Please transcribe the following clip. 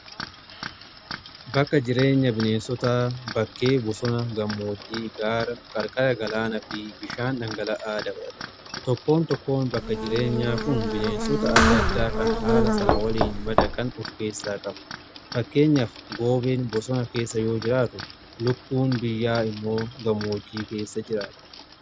Bakka jireenya bineensota bakkee bosona gammoojjii, gaara, qarqara galaanaa fi bishaan dhangala'aa dabalata. Tokkoon tokkoon bakka jireenyaa kun bineensota adda addaa kan haala sana waliin madaqan of keessaa qabu. Fakkeenyaaf goobeen bosona keessa yoo jiraatu, lukkuun biyyaa immoo gammoojjii keessa jiraata.